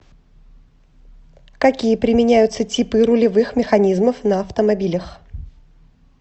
какие применяются типы рулевых механизмов на автомобилях